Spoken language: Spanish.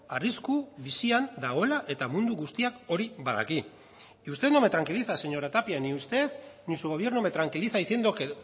arrisku bizian dagoela eta mundu guztiak hori badaki y usted no me tranquiliza señora tapia ni usted ni su gobierno me tranquiliza diciendo que